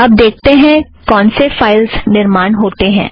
अब देखेतें हैं कौनसे फ़ाइलस निर्माण होतें हैं